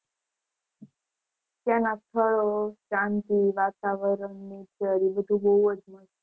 ત્યાં ફરો શાંતિ વાતાવરણ nature ત્યાં બધું બૌજ